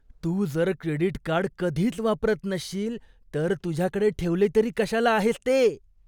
तू जर credit card कधीच वापरत नसशील तर तुझ्याकडे ठेवले तरी कशाला आहेस ते?